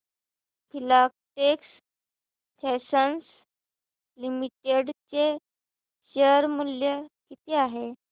Filatex Fashions Limited चे share मूल्य किती आहे